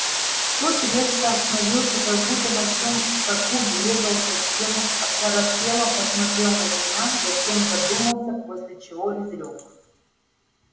тот резко остановился как будто на всем скаку врезался в стену оторопело посмотрел на меня затем задумался после чего изрёк